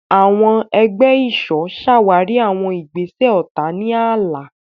Àwọn ẹgbẹ́ ìṣọ́ ṣàwárí àwọn ìgbésẹ̀ ọ̀tá ní ààlà.